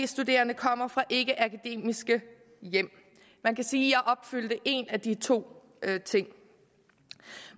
studerende kommer fra ikkeakademiske hjem man kan sige at opfyldt en af de to ting